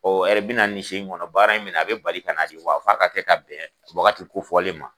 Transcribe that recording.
Ɔ hɛrɛ bɛna na in so in kɔnɔ baara in minɛ a bɛ bali ka na wa a f'a kaa kɛ ka bɛn waagati ko fɔlen ma.